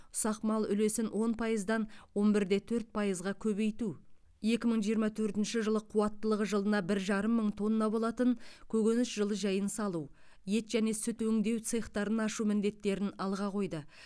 ұсақ мал үлесін он пайыздан он бір де төрт пайызға көбейту екі мың жиырма төртінші жылы қуаттылығы жылына бір жарым мың тонна болатын көкөніс жылыжайын салу ет және сүт өңдеу цехтарын ашу міндеттерін алға қойды